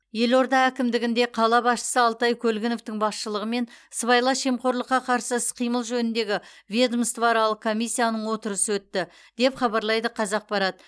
елорда әкімдігінде қала басшысы алтай көлгіновтің басшылығымен сыбайлас жемқорлыққа қарсы іс қимыл жөніндегі ведомствоаралық комиссияның отырысы өтті деп хабарлайды қазақпарат